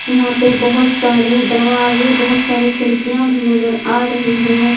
यहां पे बहुत सारे दरवाजे बहुत सारे खिड़कियां भी नजर आ रहे हैं।